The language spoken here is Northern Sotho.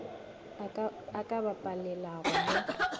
a ka ba palelago mo